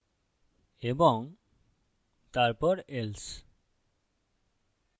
এবং তারপর else